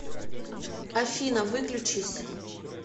афина выключись